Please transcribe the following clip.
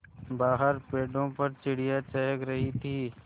बाहर पेड़ों पर चिड़ियाँ चहक रही थीं